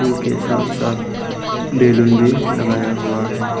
के साथ साथ बैलून भी लगाया हुआ है।